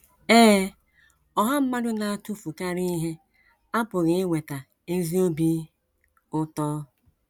Ee, ọha mmadụ na - atụfukarị ihe apụghị iweta ezi obi ụtọ.